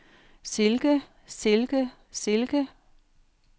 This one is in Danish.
silke silke silke